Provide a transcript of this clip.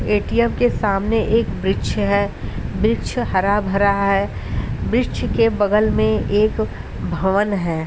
ATM के सामने एक वृक्ष है वृक्ष हरा भरा है वृक्ष के बगल में एक भवन है।